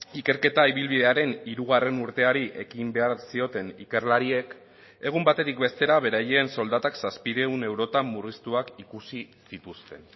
ikerketa ibilbidearen hirugarren urteari ekin behar zioten ikerlariek egun batetik bestera beraien soldatak zazpiehun eurotan murriztuak ikusi zituzten